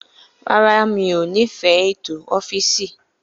Rárá, mi ò nífẹ̀ẹ́ ètò ọ́fìsì.